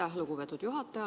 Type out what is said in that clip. Aitäh, lugupeetud juhataja!